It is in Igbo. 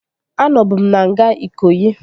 Anọbu m na nga Ikoyi